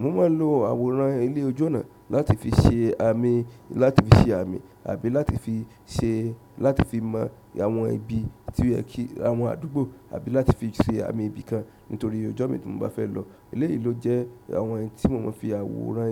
Mo máa ń lo àwòrán ilé ojú ọ̀nà láti fi ṣe àmì láti fi ṣe àmì àbí láti fi ṣe láti fi mọ àwọn ibi tí o ye kí àwọn àdúgbò àbí láti fi ṣe àmì ibìkan nítorí ọjọ́ mì ti mo bá fẹ́ lọ. Elé yìí ló jẹ́ àwọn tí mo máa ń fi àwòrán